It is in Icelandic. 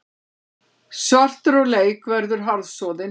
Svartur á leik verður harðsoðin